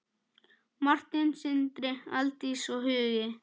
Martin, Sindri, Aldís og Hugi.